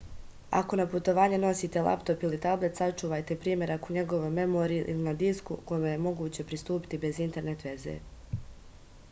ако на путовање носите лаптоп или таблет сачувајте примерак у његовој меморији или на диску коме је могуће приступити без интернет везе